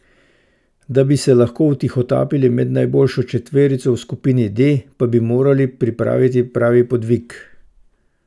Da bi se lahko vtihotapili med najboljšo četverico v skupini D, pa bi morali pripraviti pravi podvig.